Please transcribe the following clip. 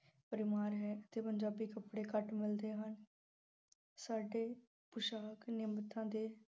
ਭਰਮਾਰ ਹੈ ਪੰਜਾਬੀ ਕੱਪੜੇ ਘੱਟ ਮਿਲਦੇ ਹਨ। ਸਾਡੇ ਪੁਸ਼ਾਕ ਦੇ